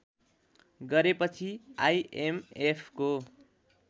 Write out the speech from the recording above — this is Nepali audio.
गरेपछि आइएमएफको